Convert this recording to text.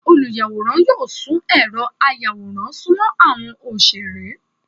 Olùyáworán yóò sùn erò àyàwórán sùmọ àwọn oṣere.